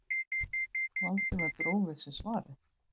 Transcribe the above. Valdimar dró við sig svarið.